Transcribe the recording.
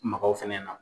Makaw fɛnɛ na